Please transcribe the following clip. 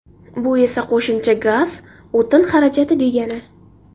Bu esa qo‘shimcha gaz, o‘tin xarajati degani.